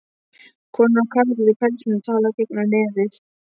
Konur og karlar í pelsum tala gegnum nefið.